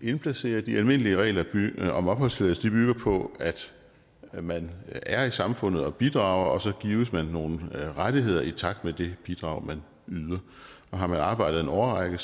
indplacere de almindelige regler om opholdstilladelse bygger på at man er i samfundet og bidrager og så gives man nogle rettigheder i takt med det bidrag man yder og har man arbejdet en årrække